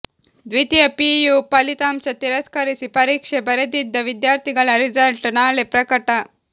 ದ್ವಿತೀಯ ಪಿಯು ಫಲಿತಾಂಶ ತಿರಸ್ಕರಿಸಿ ಪರೀಕ್ಷೆ ಬರೆದಿದ್ದ ವಿದ್ಯಾರ್ಥಿಗಳ ರಿಸಲ್ಟ್ ನಾಳೆ ಪ್ರಕಟ